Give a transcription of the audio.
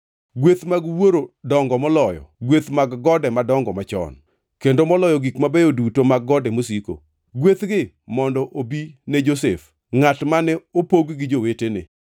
Gweth mag wuoro dongo moloyo gweth mag gode madongo machon, kendo moloyo gik mabeyo duto mag gode mosiko. Gwethgi mondo obi ne Josef, ngʼat mane opog gi jowetene.